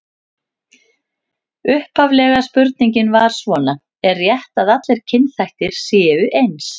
Upphaflega spurningin var svona: Er rétt að allir kynþættir séu eins?